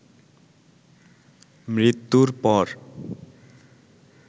মৃত্যুর পর